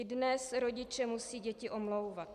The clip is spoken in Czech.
I dnes rodiče musí děti omlouvat.